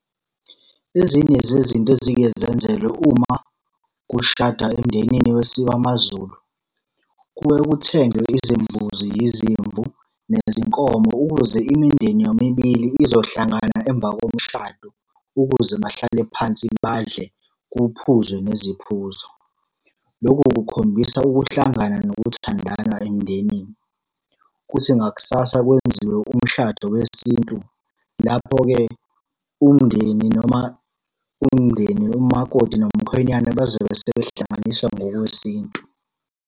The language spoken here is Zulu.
Ezinye zezinto ezike zenzelwe uma kushadwa emndenini wamaZulu, kuye kuthengwe izimbuzi, yizimvu, nezinkomo, ukuze imindeni yomibili izohlangana emva komshado, ukuze bahlale phansi badle kuphuzwe neziphuzo. Loku kukhombisa ukuhlangana nokuthandana emndenini. Kuthi ngakusasa kwenziwe umshado wesintu, lapho-ke umndeni noma umndeni umakoti nomkhwenyana bazobe sebehlanganiswa ngokwesintu.